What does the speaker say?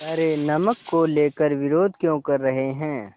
पर नमक को लेकर विरोध क्यों कर रहे हैं